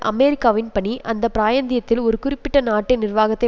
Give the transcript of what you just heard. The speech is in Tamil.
அமெரிக்காவின் பணி அந்த பிராயந்தியத்தின் ஒரு குறிப்பிட்ட நாட்டின் நிர்வாகத்தை